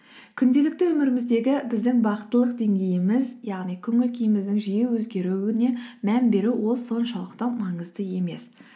күнделікті өміріміздегі біздің бақыттылық деңгейіміз яғни көңіл күйіміздің жиі өзгеруіне мән беру ол соншалықты маңызды емес